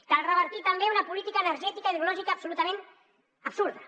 cal revertir també una política energètica i hidrològica absolutament absurda